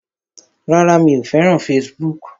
Rárá, mi ò fẹ́ràn fesibúùkù